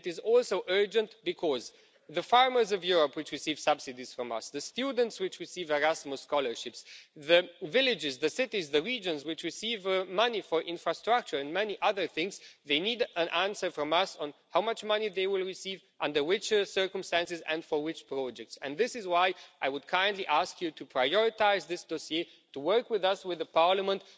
It is also urgent because the farmers of Europe who receive subsidies from us, the students who receive Erasmus scholarships, the villages, the cities, the regions which receive money for infrastructure and many other things need an answer from us on how much money they will receive, under what circumstances and for which projects. This is why I would kindly ask you to prioritise this dossier, to work with us, with Parliament.